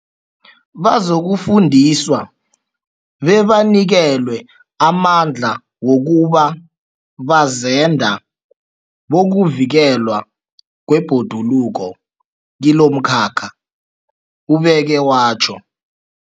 Bazokufundiswa bebanikelwe amandla wokuba bazenda bokuvikelwa kwebhoduluko kilomkhakha, ubeke watjho.